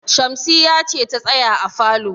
Shamsiyya ce ta tsaya a falo.